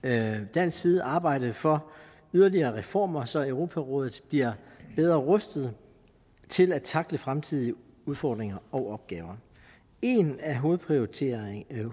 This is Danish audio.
dansk side arbejde for yderligere reformer så europarådet bliver bedre rustet til at tackle fremtidige udfordringer og opgaver en af hovedprioriteterne